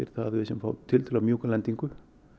það að fá tiltölulega mjúka lendingu